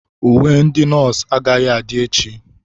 Uwe ndị nọọsụ agaghị adị echi.